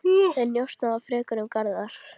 Þeir njósna þá frekar um Garðar.